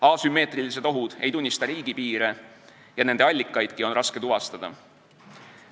Asümmeetrilised ohud ei tunnista riigipiire ja nende allikaidki on raske tuvastada.